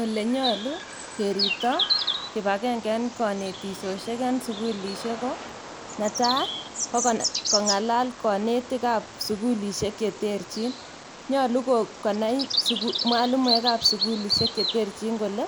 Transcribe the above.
Olenyalu keribto kibakengeisiek en kanetisisiek en sugul ko netai ko kong'alal konetikab sugulisiek cheterchin nyalu konai mwalimuek kab sugulisiek kole